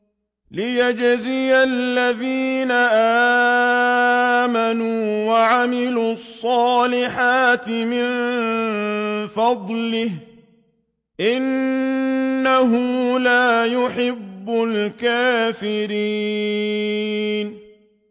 لِيَجْزِيَ الَّذِينَ آمَنُوا وَعَمِلُوا الصَّالِحَاتِ مِن فَضْلِهِ ۚ إِنَّهُ لَا يُحِبُّ الْكَافِرِينَ